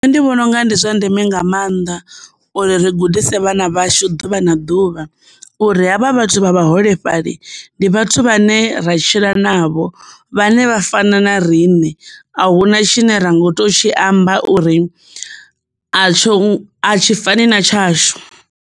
Nṋe ndi vhona unga ndi zwa ndeme nga mannḓa uri ri gudise vhana vhashu ḓuvha na ḓuvha uri havha vhathu vha vhaholefhali ndi vhathu vhane ra tshila navho vhane vha fana na rine a huna tshine ra ngo to tshi amba uri a tsho, a tshi fani na tshashu.